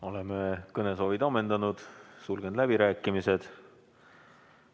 Oleme kõnesoovid ammendanud, sulgen läbirääkimised.